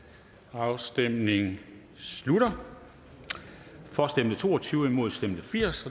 afstemningen slutter for stemte to og tyve imod stemte firs